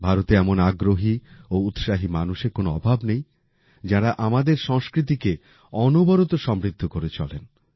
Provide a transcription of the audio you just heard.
ভারতে এমন আগ্রহী ও উৎসাহী মানুষের কোন অভাব নেই যাঁরা আমাদের সংস্কৃতিকে অনবরত সমৃদ্ধ করে চলেন